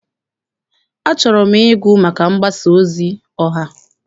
Achọrọ m ịgụ maka mgbasa ozi ọha.